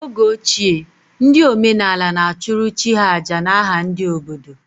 N’oge ochie, ndị omenaala na-achụrụ chi ha àjà n’aha ndị obodo